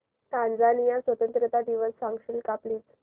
Tanzania स्वतंत्रता दिवस सांगशील का प्लीज